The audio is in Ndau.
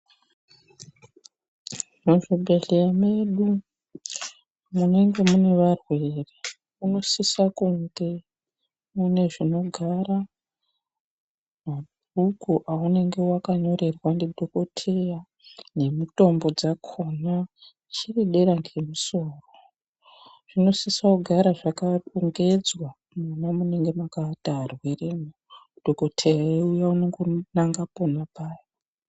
Muzvibhendleya mwedu munenge mune varwere munosisa kunge mune zvinogara mabhuku aunenge wakanyorerwa ndidhokotheya nemutombo dzakhona zviri dera kwesoro. Zvinosisa kugara zvakarongedzwa mwamunenge mwakaata arwere mwo dhokotheya eiuya unongonanga pona apapo.